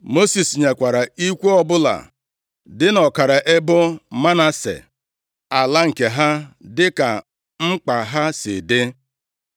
Mosis nyekwara ikwu ọbụla dị nʼọkara ebo Manase ala nke ha, dịka mkpa ha si dị.